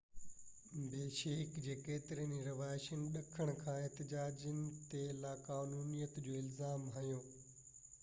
بشيڪ جي ڪيترن ئي رهواسين ڏکڻ کان احتجاجين تي لاقانونيت جو الزام هنيو